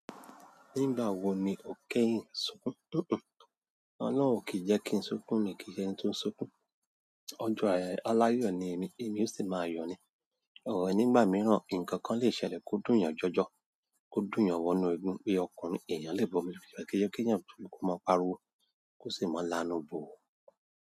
Nígbà wo ni o kẹ́yìn sùnkun? Hm hm. Ọlọ́run o kìí jẹ́ kí n súnkún mi kìí ṣe ẹni tó ń súnkún. Ọjọ́ a-- aláyọ̀ ni èmi èmi ò sì máa yọ ni or nígbà mìíràn nkankan lè ṣẹlẹ̀ kò dunyan jọjọ, kò dunyan wọnú eegun, bí ọkùnrin èèyàn lè bomi lójú kìí ṣe keeyan kó máa pariwo kó sì máa lanú bú u.